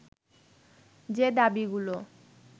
যে দাবীগুলো